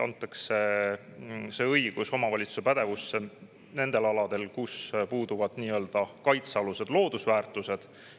See õigus antakse omavalitsuse pädevusse nendel aladel, kus puuduvad nii-öelda kaitsealused loodusväärtused.